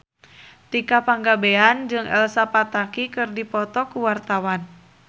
Tika Pangabean jeung Elsa Pataky keur dipoto ku wartawan